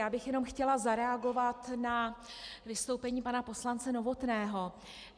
Já bych jenom chtěla zareagovat na vystoupení pana poslance Novotného.